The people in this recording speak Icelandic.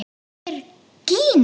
Þetta er Gína!